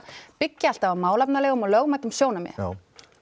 byggja alltaf á málefnalegum og lögmætum sjónarmiðum já